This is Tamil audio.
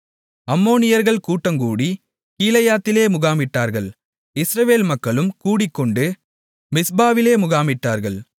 அம்மோனியர்கள் கூட்டங்கூடி கீலேயாத்திலே முகாமிட்டார்கள் இஸ்ரவேல் மக்களும் கூடிக்கொண்டு மிஸ்பாவிலே முகாமிட்டார்கள்